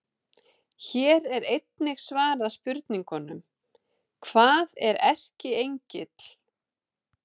Hér er einnig svarað spurningunum: Hvað er erkiengill?